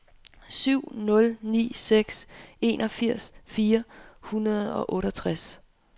syv nul ni seks enogfirs fire hundrede og otteogtres